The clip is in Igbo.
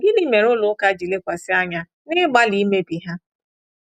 Gịnị mere ụlọ ụka ji lekwasị anya n’ịgbalị imebi ha?